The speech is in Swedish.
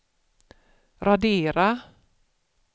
radera